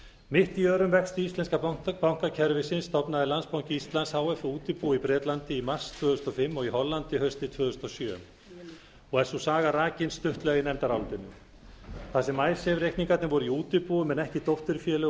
mitt í örum vexti íslenska bankakerfisins stofnaði landsbanki íslands h f útibú í bretlandi í mars tvö þúsund og fimm og í hollandi haustið tvö þúsund og sjö og er sú saga rakin stuttlega í nefndarálitinu þar sem reikningarnir voru í útibúum en ekki dótturfélögum